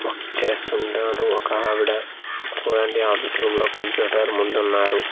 Work చేస్తుంటారు ఒక ఆవిడ చూడండి ఆఫీసు రూమ్ లో కంప్యూటర్ ముందున్నారు.